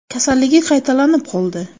Kasalligi qaytalanib qoldi.